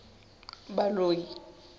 baloi